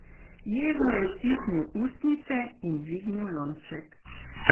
Jezno je stisnil ustnice in dvignil lonček.